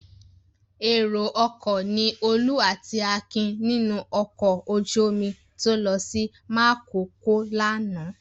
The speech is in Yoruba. Èrò-ọkọ̀ ni Olú àti Akin nínú ọkọ̀ ojú-omi tó lọ sí Makòko lánàá.